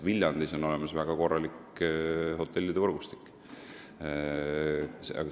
Viljandis on olemas väga korralik hotellide võrgustik.